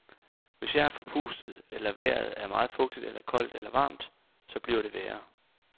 Hvis jeg er forpustet, eller vejret er meget fugtigt eller koldt eller varmt, så bliver det værre.